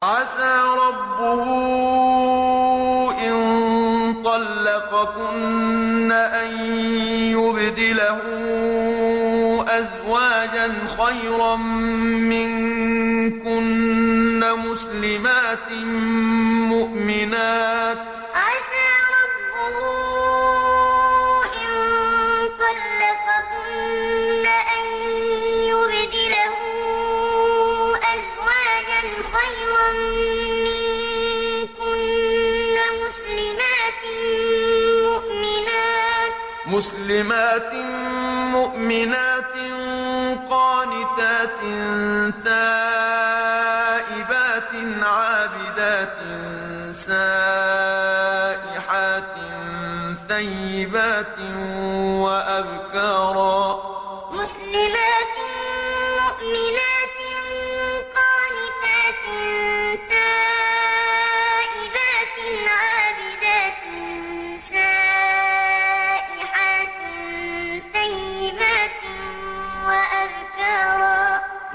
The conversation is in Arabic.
عَسَىٰ رَبُّهُ إِن طَلَّقَكُنَّ أَن يُبْدِلَهُ أَزْوَاجًا خَيْرًا مِّنكُنَّ مُسْلِمَاتٍ مُّؤْمِنَاتٍ قَانِتَاتٍ تَائِبَاتٍ عَابِدَاتٍ سَائِحَاتٍ ثَيِّبَاتٍ وَأَبْكَارًا عَسَىٰ رَبُّهُ إِن طَلَّقَكُنَّ أَن يُبْدِلَهُ أَزْوَاجًا خَيْرًا مِّنكُنَّ مُسْلِمَاتٍ مُّؤْمِنَاتٍ قَانِتَاتٍ تَائِبَاتٍ عَابِدَاتٍ سَائِحَاتٍ ثَيِّبَاتٍ وَأَبْكَارًا